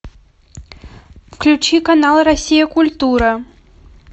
включи канал россия культура